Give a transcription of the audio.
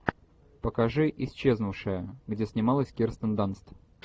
покажи исчезнувшая где снималась кирстен данст